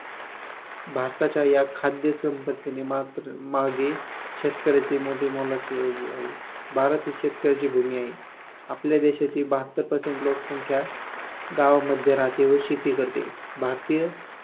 भारताच्या या खाद्यसंपत्ती मात्र मागे शेतकऱ्यांचे मोठे मोलाचे योगदान आहे. भारती ही शेतकऱ्यांची भूमी आहे. आपल्या देशातील बहात्तर Percent लोकसंख्या गावांमध्ये राहाते व शेती करते. भारतीय